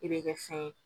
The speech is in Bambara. I bɛ kɛ fɛn ye